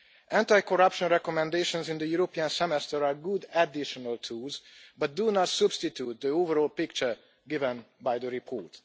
Anti corruption recommendations in the European Semester are good additional tools but do not substitute the overall picture given by the report.